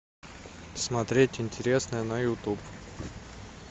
смотреть интересное на ютуб